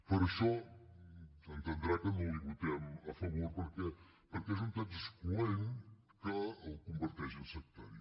per això ha d’entendre que no l’hi votem a favor perquè és un text excloent que el converteix en sectari